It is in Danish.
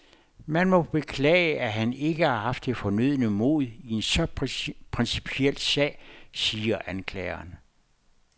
Man må beklage, at han ikke har haft det fornødne mod i en så principiel sag, siger anklageren.